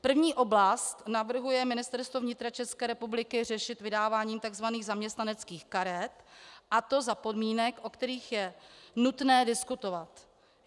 První oblast navrhuje Ministerstvo vnitra České republiky řešit vydáváním tzv. zaměstnaneckých karet, a to za podmínek, o kterých je nutné diskutovat.